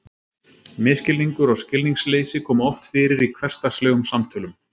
Misskilningur og skilningsleysi koma oft fyrir í hversdagslegum samtölum.